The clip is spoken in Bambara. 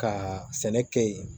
Ka sɛnɛ kɛ yen